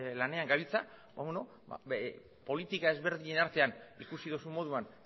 lanean gabiltza politika ezberdinen artean ikusi duzun moduan